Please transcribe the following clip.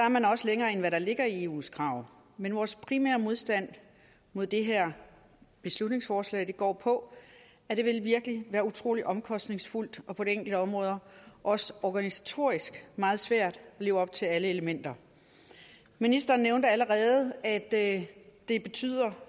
man også længere end hvad der ligger i eus krav men vores primære modstand mod det her beslutningsforslag går på at det virkelig vil være utrolig omkostningsfuldt og på enkelte områder også organisatorisk meget svært at leve op til alle elementer ministeren nævnte allerede at det betyder